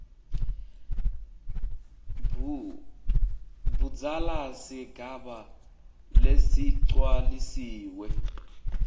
budzala sigaba lesigcwalisiwe